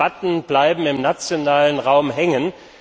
Die Debatten bleiben im nationalen Raum hängen.